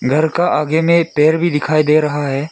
घर का आगे में एक पेड़ भी दिखाई दे रहा है।